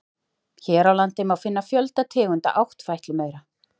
Hér á landi má finna fjölda tegunda áttfætlumaura.